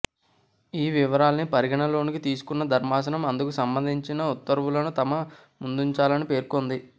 ఈ వివరాల్ని పరిగణనలోకి తీసుకున్న ధర్మాసనం అందుకు సంబంధించిన ఉత్తర్వులను తమ ముందుంచాలని పేర్కొంది